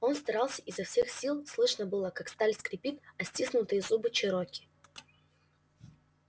он старался изо всех сил слышно было как сталь скрипит о стиснутые зубы чероки